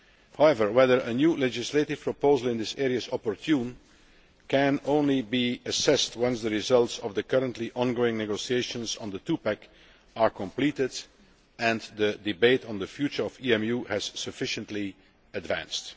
However, whether a new legislative proposal in this area is opportune can only be assessed once the results of the currently ongoing negotiations on the Two Pack are completed and the debate on the future of EMU has sufficiently advanced.